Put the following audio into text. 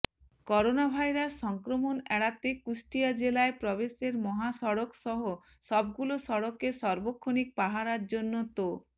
coronavirus সংক্রমণ এড়াতে কুষ্টিয়া জেলায় প্রবেশের মহাসড়কসহ সবগুলো সড়কে সার্বক্ষণিক পাহারার জন্য ত